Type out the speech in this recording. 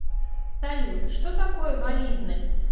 салют что такое валидность